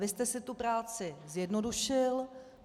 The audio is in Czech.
Vy jste si tu práci zjednodušil.